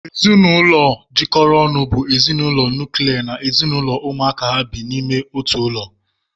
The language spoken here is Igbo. Ezinụlọ jikọrọ ọnụ bụ ezinụlọ nuklia na ezinụlọ ụmụaka ha bi n'ime otu ụlọ